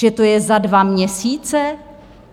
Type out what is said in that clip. Že to je za dva měsíce?